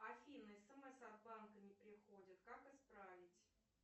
афина смс от банка не приходит как исправить